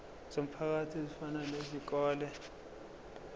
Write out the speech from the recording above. zomphakathi ezifana nezikole